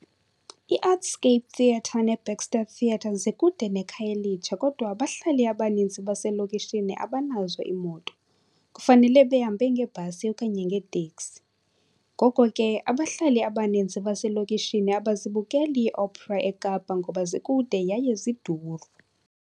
IArtscape Theatre neBaxter Theatre zikude neKhayelitsha, kodwa abahlali abaninzi baselokishini abanazo iimoto, kufanele behambe ngebhasi okanye ngeteksi. Ngoko ke, abahlali abaninzi baselokishini abazibukeli ii-opera eKapa ngoba zikude yaye ziduru.